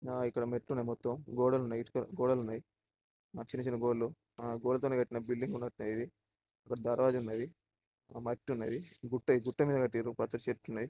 ఆ ఇక్కడ మొత్తమ్ మెట్లున్నాయి. గోడలున్నాయి . చిన్న చిన్న గోడలున్నాయి. గోడతోనే కట్టిన బిల్డింగ్ . ఇది ఇక్కడ దర్వాజా ఉన్నదీ. మట్టి ఉన్నదీ గుట్ట మీద కట్టిండ్రు పచ్చని చెట్లున్నాయి.